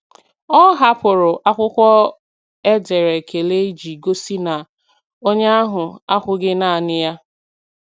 Ọ hapụrụ akwụkwọ e dere ekele iji gosi na onye ahụ akwughị naanị ya.